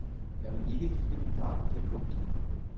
Jeg vil ikke ligne min far på det punkt.